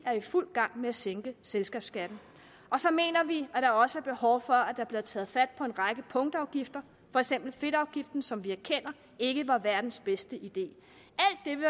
er i fuld gang med at sænke selskabsskatten og så mener vi at der også er behov for at der bliver taget fat på en række punktafgifter for eksempel fedtafgiften som vi erkender ikke var verdens bedste idé